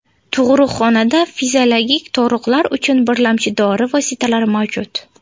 Tug‘ruqxonada fiziologik tug‘ruqlar uchun birlamchi dori vositalari mavjud.